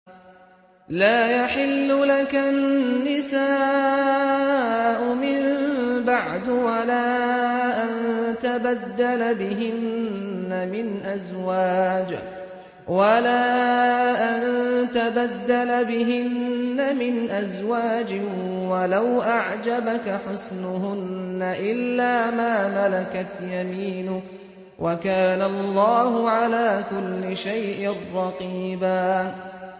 لَّا يَحِلُّ لَكَ النِّسَاءُ مِن بَعْدُ وَلَا أَن تَبَدَّلَ بِهِنَّ مِنْ أَزْوَاجٍ وَلَوْ أَعْجَبَكَ حُسْنُهُنَّ إِلَّا مَا مَلَكَتْ يَمِينُكَ ۗ وَكَانَ اللَّهُ عَلَىٰ كُلِّ شَيْءٍ رَّقِيبًا